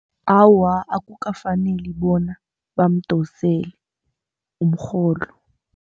Awa, akukafaneli bona bamdosele umrholo.